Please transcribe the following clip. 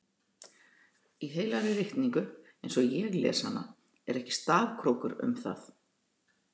Í heilagri ritningu eins og ég les hana er ekki stafkrókur um það.